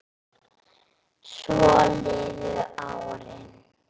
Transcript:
Svo liðu árin.